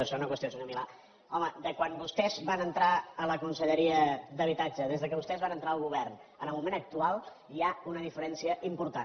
i segona qüestió senyor milà home de quan vostès van entrar a la conselleria d’habitatge des que vostès van entrar al govern fins al moment actual hi ha una diferència important